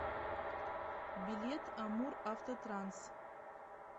билет амуравтотранс